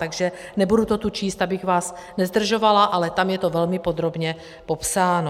Takže nebudu to tu číst, abych vás nezdržovala, ale tam je to velmi podrobně popsáno.